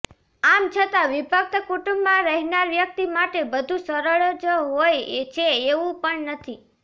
આમ છતાં વિભક્ત કુટુંબમાં રહેનાર વ્યક્તિ માટે બધું સરળ જ હોય છે એવું પણ નથી